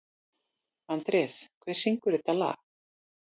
Andrés, hver syngur þetta lag?